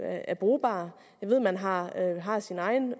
er brugbar jeg ved at man har har sin egen